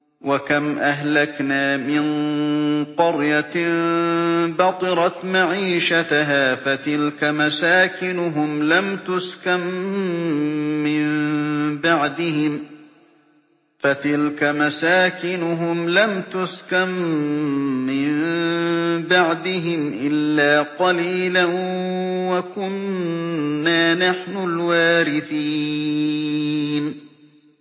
وَكَمْ أَهْلَكْنَا مِن قَرْيَةٍ بَطِرَتْ مَعِيشَتَهَا ۖ فَتِلْكَ مَسَاكِنُهُمْ لَمْ تُسْكَن مِّن بَعْدِهِمْ إِلَّا قَلِيلًا ۖ وَكُنَّا نَحْنُ الْوَارِثِينَ